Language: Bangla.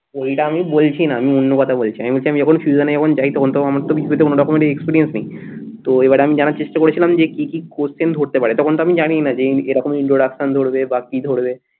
ওইটা আমি বলছি না আমি অন্য কথা বলছি আমি বলছি আমি যখন যখন যাই তখন তো আমার তো কিছুতে কোনরকমের experience নেই তো এবার আমি জানার চেষ্টা করেছিলাম যে কি কি question ধরতে পারে তখন তো আমি জানিই না যে এরকম introduction ধরবে বা কি ধরবে